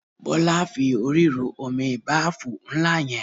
Bọ́lá fi orí ru omi báàfù ńlá yẹn.